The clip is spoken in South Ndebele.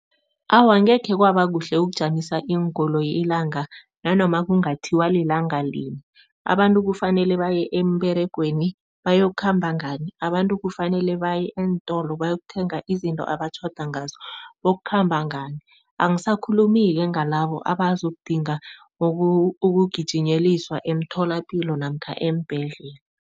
Awa, angekhe kwaba kuhle ukujamisa iinkoloyi ilanga nanoma kungathiwa lilanga lini. Abantu kufanele baye emberegweni, bayokukhamba ngani? Abantu kufanele baye eentolo bayokuthenga izinto abatjhado ngazo, bokukhamba ngani? Angisakhulumi-ke ngalabo abazokudinga ukugijinyeliswa emtholapilo namkha eembhedlela.